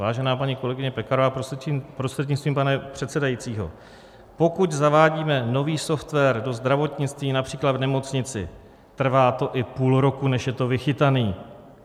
Vážená paní kolegyně Pekarová prostřednictvím pana předsedajícího, pokud zavádíme nový software do zdravotnictví, například v nemocnici, trvá to i půl roku, než je to vychytané.